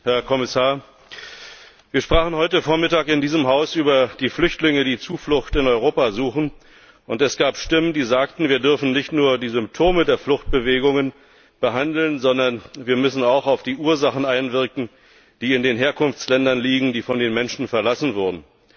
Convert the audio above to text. Herr Präsident, Herr Kommissar! Wir sprachen heute Vormittag in diesem Haus über die Flüchtlinge, die Zuflucht in Europa suchen, und es gab Stimmen, die sagten, wir dürfen nicht nur die Symptome der Fluchtbewegungen behandeln, sondern wir müssen auch auf die Ursachen einwirken, die in den Herkunftsländern liegen, die von den Menschen verlassen wurden.